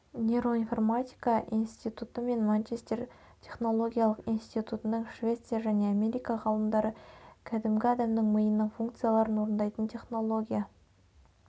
нероинформатика институты мен манчестер технологиялық институтының швеция және америка ғалымдары кәгімгі адамның миының функцияларын орындайтын технология